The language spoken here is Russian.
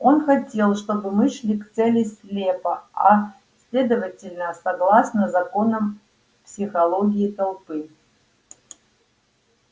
он хотел чтобы мы шли к цели слепо а следовательно согласно законам психологии толпы